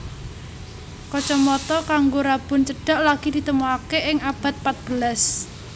Kacamata kanggo rabun cedhak lagi ditemokake ing abad pat belas